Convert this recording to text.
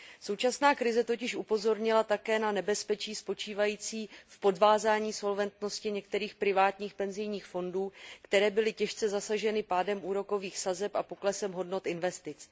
Současná krize totiž upozornila také na nebezpečí spočívající v podvázání solventnosti některých privátních penzijních fondů, které byly těžce zasaženy pádem úrokových sazeb a poklesem hodnot investic.